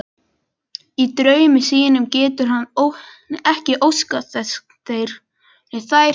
Í draumi sínum getur hann ekki óskað þess þær hverfi.